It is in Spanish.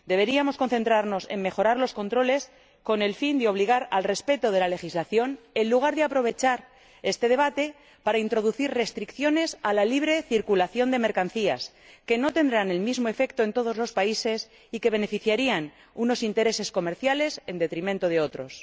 Deberíamos concentrarnos en mejorar los controles, con el fin de obligar a que se respete la legislación, en lugar de aprovechar este debate para introducir restricciones a la libre circulación de mercancías que no tendrán el mismo efecto en todos los países y que beneficiarían a unos intereses comerciales en detrimento de otros.